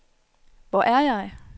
Hvor er jeg